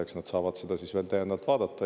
Eks nad saavad seda siis veel täiendavalt vaadata.